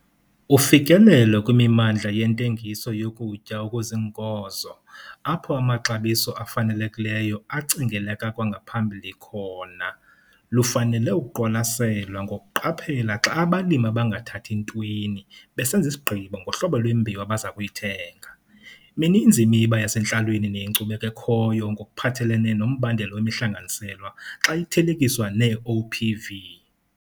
Ufikelelo kwimimandla yentengiso yokutya okuziinkozo apho amaxabiso afanelekileyo acingeleka kwangaphambili khona, lufanele ukuqwalaselwa ngokuqaphela xa abalimi abangathathi ntweni besenza isigqibo ngohlobo lwembewu abaza kuyithenga. Mininzi imiba yasentlalweni neyenkcubeko ekhoyo ngokuphathelene nombandela wemihlanganiselwa xa ithelekiswa nee-OPV.